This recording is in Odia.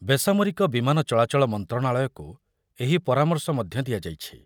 ବେସାମରିକ ବିମାନ ଚଳାଚଳ ମନ୍ତ୍ରଣାଳୟକୁ ଏହି ପରାମର୍ଶ ମଧ୍ୟ ଦିଆଯାଇଛି।